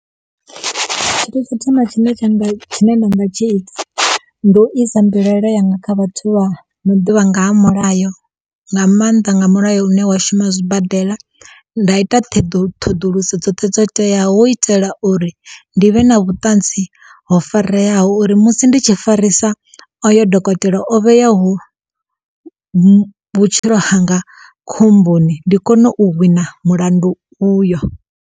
Tsho thoma tshine tsha nga tshine ndanga tshi ita ndi u isa mbilaelo yanga kha vhathu vha no ḓivha nga ha mulayo nga mannḓa nga mulayo une wa shuma zwibadela nda ita theḓu ṱhoḓuluso dzothe dzo teyaho hu u itela uri ndi vhe na vhuṱanzi ho fareyaho uri musi ndi tshi farisa oyo dokotela o vheyaho vhu vhutshilo hanga khomboni ndi kone u wina mulandu uyo.